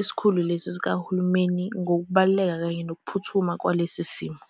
isikhulu lesi sikahulumeni ngokubaluleka kanye ngokuphuthuma kwalesi simo.